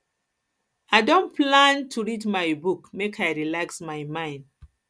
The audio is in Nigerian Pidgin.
i don plan to plan to read my book make i relax my mind